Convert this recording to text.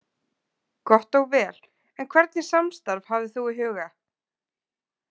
Gott og vel, en hvernig samstarf hafðir þú í huga?